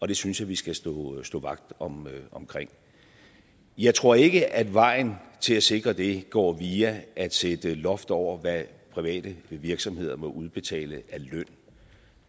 det synes jeg vi skal stå vagt om jeg tror ikke at vejen til at sikre det går via at sætte loft over hvad private virksomheder må udbetale af løn